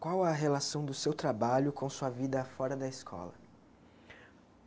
Qual a relação do seu trabalho com sua vida fora da escola?